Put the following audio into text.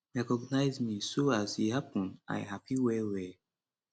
recognise me so as e happun i happy well well